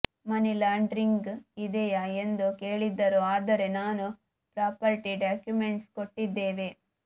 ಮನಿ laundering ಇದೆಯ ಎಂದು ಕೇಳಿದ್ದರು ಆದರೆ ನಾನು ಪ್ರಾಪರ್ಟಿ ಡಾಕ್ಯುಮೆಂಟ್ಸ್ ಕೊಟ್ಟಿದೇವೆ